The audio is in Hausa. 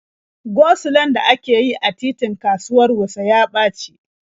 Go-sulon da ake yi a titin kasuwar Wuse ya ɓaci.